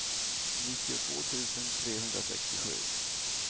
nittiotvå tusen trehundrasextiosju